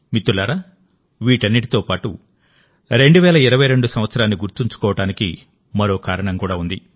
మిత్రులారావీటన్నిటితో పాటు 2022 సంవత్సరాన్ని గుర్తుంచుకోవడానికి మరో కారణం కూడా ఉంది